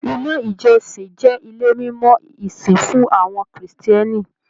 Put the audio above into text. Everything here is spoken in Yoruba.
Ilé ìjọsìn jẹ ilé mimọ ìsìn fún àwọn Kírísítẹ́nì.